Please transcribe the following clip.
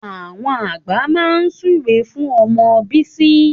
Àwọn àgbà náà súre fún ọmọ bísí